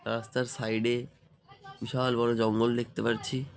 রাস্তার সাইড -এ বিশাল বোরো জঙ্গল দেখতে পারছি ।